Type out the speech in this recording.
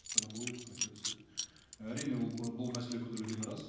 стоматологиялық қызметке түседі әрине ол бұл мәселе көтерілгені рас